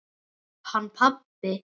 Hann pabbi?